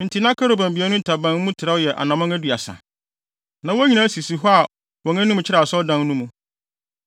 Enti na kerubim abien no ntaban mu trɛw yɛ anammɔn aduasa. Na wɔn nyinaa sisi hɔ a wɔn anim kyerɛ Asɔredan no mu.